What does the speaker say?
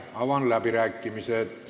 Avan läbirääkimised.